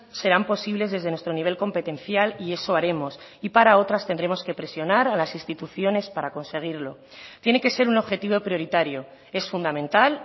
serán posibles desde nuestro nivel competencial y eso haremos y para otras tendremos que presionar a las instituciones para conseguirlo tiene que ser un objetivo prioritario es fundamental